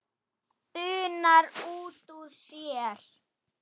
bunar hún út úr sér.